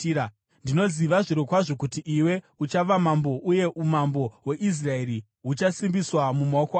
Ndinoziva zvirokwazvo kuti iwe uchava mambo uye umambo hweIsraeri huchasimbiswa mumaoko ako.